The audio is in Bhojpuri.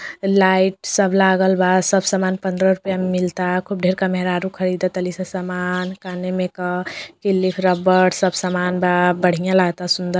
लाइट सब लागल बा| सब सामन पंद्रह रुपया मैं मिलता| खूब ढेर का मेहरारू खरीदतानी स समान क्लिप रबर सब सामान बा बढ़िया लगत सुन्द --